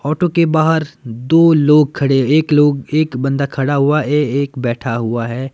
Auto के बाहर दो लोग खड़े एक लोग एक बंदा खड़ा हुआ एएक बैठा हुआ है।